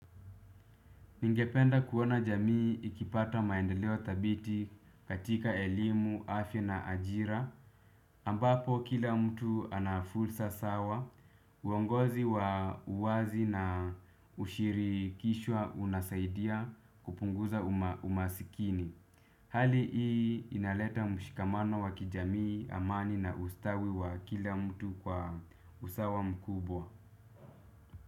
Ningependa kuona jamii ikipata maendeleo thabiti katika elimu, afya na ajira ambapo kila mtu ana fursa sawa. Uongozi wa uwazi na ushiri kishwa unasaidia kupunguza umasikini. Hali hii inaleta mshikamano wa kijamii amani na ustawi wa kila mtu kwa usawa mkubwa.